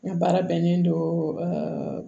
N ka baara bɛnnen don